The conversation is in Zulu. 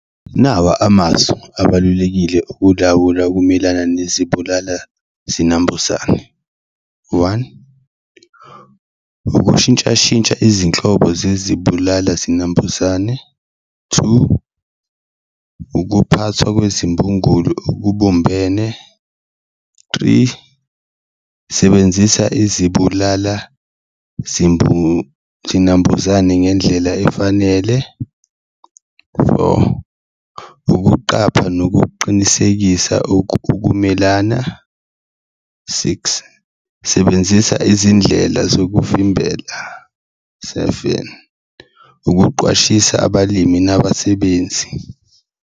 Nawa amasu abalulekile okulawula ukumelana nezibulala-zinambuzane, one, ukushintshashintsha izinhlobo zezibulala-zinambuzane, two, ukuphathwa kwezimbungulo okubumbene, three, sebenzisa izibulala zinambuzane ngendlela efanele. Four, ukuqapha nokucinisekisa ukumelana, six, sebenzisa izindlela zokuvimbela, seven, ukuqwashisa abalimi nabasebenzi.